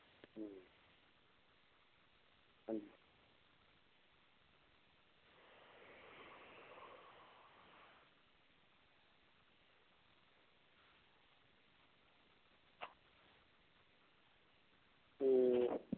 ਤੇ